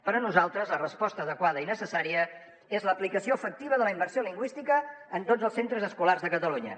per a nosaltres la resposta adequada i necessària és l’aplicació efectiva de la immersió lingüística en tots els centres escolars de catalunya